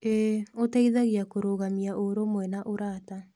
ĩĩ, ũteithagia kũrũgamia ũrũmwe na ũrata.